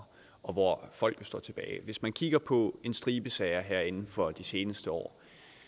og hvor folk står tilbage hvis man kigger på en stribe sager her inden for de seneste år